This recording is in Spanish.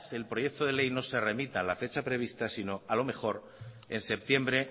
el proyecto de ley no se remita en la fecha prevista sino a lo mejor en septiembre